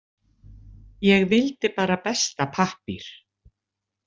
Ég vildi bara besta pappír.